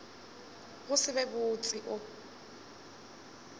go se be botse o